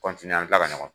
an bɛ kila ka ɲɔgɔn